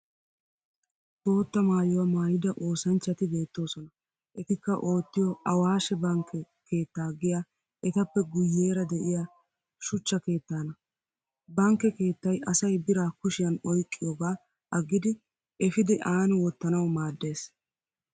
Bootta maayuwa maayida osanchchati beettoosona etikka ottiyo awaashe bankke keettaa giya etappe guyyeera de'iya shuchcha keettaana. Bankke keettay asay biraa kushiyan oyqqiyoogaa aggidi efidi aani wottanawu maaddes.